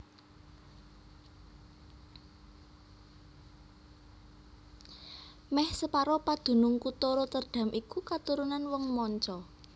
Mèh separo padunung kutha Rotterdam iku katurunan wong manca